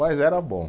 Mas era bom.